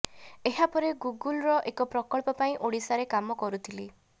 ଏହା ପରେ ଗୁଗୁଲ୍ର ଏକ ପ୍ରକଳ୍ପ ପାଇଁ ଓଡ଼ିଶାରେ କାମ କରୁଥିଲି